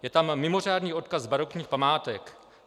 Je tam mimořádný odkaz barokních památek.